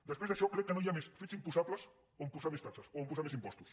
després d’això crec que no hi ha més fets imposables on posar més taxes o on posar més impostos